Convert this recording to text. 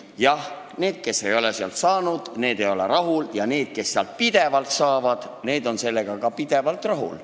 Jah, need, kes ei ole sealt raha saanud, ei ole rahul, ja need, kes sealt pidevalt saavad, on sellega ka pidevalt rahul.